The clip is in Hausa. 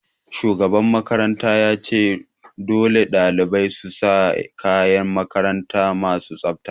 Shugaban makaranta ya ce 'Dole ɗalibai su sa kayan makaranta masu tsafta'!